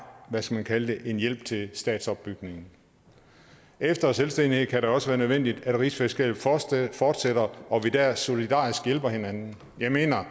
hvad skal man kalde det en hjælp til statsopbygningen efter selvstændighed kan det også være nødvendigt at rigsfællesskabet fortsætter og at vi dér solidarisk hjælper hinanden jeg mener